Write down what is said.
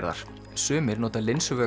sumir nota